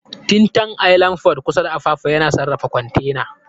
Tin Can Island Port kusa da Apapa yana sarrafa kwantena.